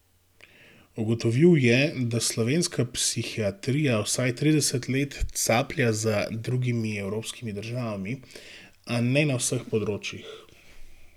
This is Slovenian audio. Ugotovil je, da slovenska psihiatrija vsaj trideset let caplja za drugimi evropskimi državami, a ne na vseh področjih.